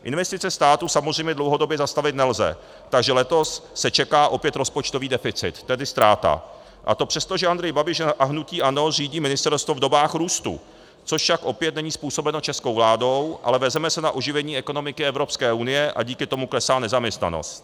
Investice státu samozřejmě dlouhodobě zastavit nelze, takže letos se čeká opět rozpočtový deficit, tedy ztráta, a to přesto, že Andrej Babiš a hnutí ANO řídí ministerstvo v dobách růstu, což však opět není způsobeno českou vládou, ale vezeme se na oživení ekonomiky Evropské unie a díky tomu klesá nezaměstnanost.